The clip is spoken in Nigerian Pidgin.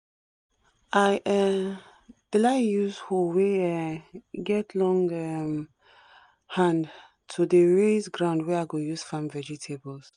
i um dey like use hoe wey um get long um hand to dey raise ground wey i go use farm vegetables